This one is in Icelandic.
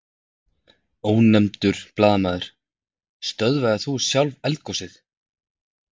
Ónefndur blaðamaður: Stöðvaðir þú sjálf eldgosið?